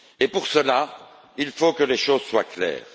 Pour cela, il faut que les choses soient claires.